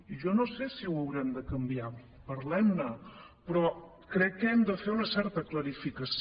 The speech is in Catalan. i jo no sé si ho haurem de canviar parlem ne però crec que hem de fer una certa clarificació